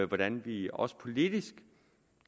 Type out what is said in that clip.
hvordan vi også politisk